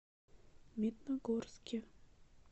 медногорске